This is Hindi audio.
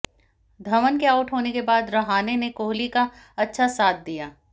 धवन के आउट होने के बाद रहाणे ने कोहली का अच्छा साथ दिया